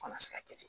Kana se ka kɛ